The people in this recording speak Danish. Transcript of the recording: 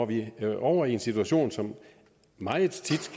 vi over i en situation som meget tit